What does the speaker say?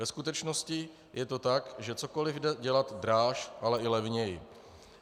Ve skutečnosti je to tak, že cokoli jde dělat dráž, ale i levněji.